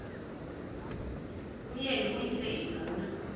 umyeni uyise iduna